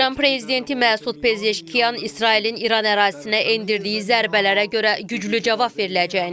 İran prezidenti Məsud Pezeşkiyan İsrailin İran ərazisinə endirdiyi zərbələrə görə güclü cavab veriləcəyini deyib.